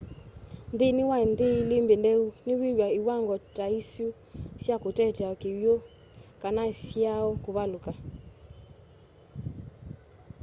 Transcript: nthini wa nthi ili mbendeeu ni wiwaa iwango ta isu sya kutetea kiwu kana syiao kuvaluka